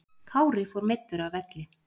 Kári fór meiddur af velli